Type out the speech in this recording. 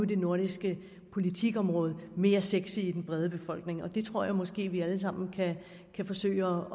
det nordiske politikområde mere sexy i den brede befolkning og det tror jeg måske vi alle sammen kan forsøge